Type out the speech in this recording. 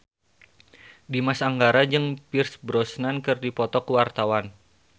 Dimas Anggara jeung Pierce Brosnan keur dipoto ku wartawan